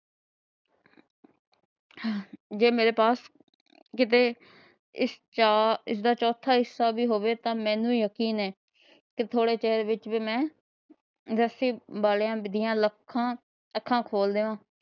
ਤੇ ਜੇ ਮੇਰੇ ਪਾਸ ਕੀਤੇ। ਇਸਦਾ ਚੋਥਾ ਹਿੱਸਾ ਵੀ ਹੋਵੇ ਤਾ ਮੈਨੂੰ ਜਕੀਨ ਏ ਕੀ ਥੋੜੇ ਚਿਰ ਵਿਚ ਹੀ ਮੈ ਵਾਲਿਆਂ ਦੀਆ ਅੱਖਾਂ ਖੋਲ ਦਿਆ।